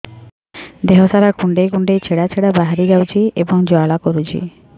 ଦେହ ସାରା କୁଣ୍ଡେଇ କୁଣ୍ଡେଇ ଛେଡ଼ା ଛେଡ଼ା ବାହାରି ଯାଉଛି ଏବଂ ଜ୍ୱାଳା କରୁଛି